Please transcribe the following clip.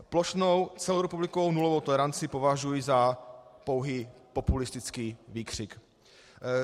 Plošnou celorepublikovou nulovou toleranci považuji za pouhý populistický výkřik.